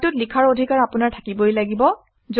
ফাইলটোত লিখাৰ অধিকাৰ আপোনাৰ থাকিবই লাগিব